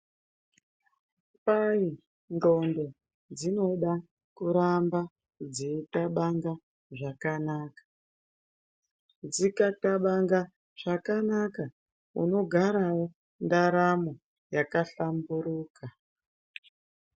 Kwai nqondo dzinoda kuramba dzeikabanga zvakanaka , dzikabanga zvakanaka unogarawo ndaramo yakahlamburuka.